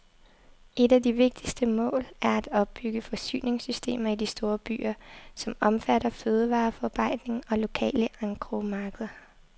Et af de vigtigste mål er at opbygge forsyningssystemer i de store byer, som omfatter fødevareforarbejdning og lokale engrosmarkeder.